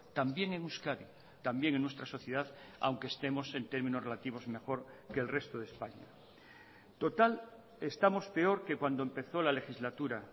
también en euskadi también en nuestra sociedad aunque estemos en términos relativos mejor que el resto de españa total estamos peor que cuando empezó la legislatura